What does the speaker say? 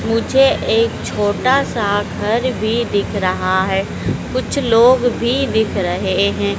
मुझे एक छोटा सा घर भी दिख रहा है कुछ लोग भी दिख रहे हैं।